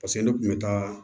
Paseke ne kun bɛ taa